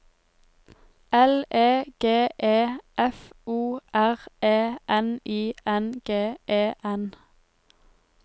L E G E F O R E N I N G E N